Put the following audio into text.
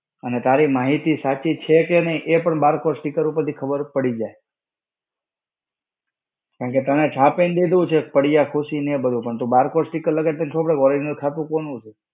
અને તારી માહિતી સાચી છે કે નઈ એ પણ barcode sticker ઉપર થી ખબર પડી જાય. કારણકે તમે છાપીને દીધું છે પડિયા ખુશી ને એ બધું પણ barcode sticker લગાડી ને ખબર પડે કે original ખાતું કોનું છે.